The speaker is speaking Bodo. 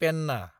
पेनना